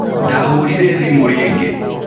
Ndahũrĩĩre thimu rĩngĩ.